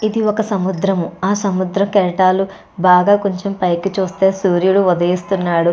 ఇది ఒక సముద్రము ఆ సముద్ర కెరటాలు బాగా కొంచెం పైకి చూస్తే సూర్యుడు ఉదయిస్తున్నాడు.